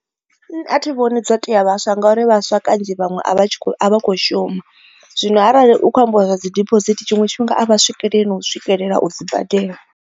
Nṋe athi vhoni dzo tea vhaswa ngauri vhaswa kanzhi vhaṅwe a vha tshi kho a vha kho shuma zwino arali hu kho ambiwa zwa dzi diphosithi tshiṅwe tshifhinga a vha swikeleli na u swikelela u dzi badela.